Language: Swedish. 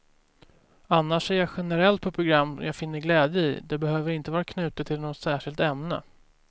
Annars ser jag generellt på program jag finner glädje i, det behöver inte vara knutet till något särskilt ämne.